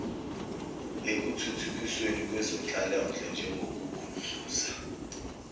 ekuthuthukisweni kwezenhlalonhle njengokugudluza